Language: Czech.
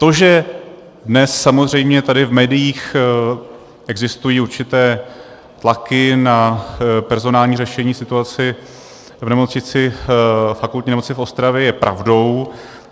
To, že dnes samozřejmě tady v médiích existují určité tlaky na personální řešení situace ve Fakultní nemocnici v Ostravě je pravdou.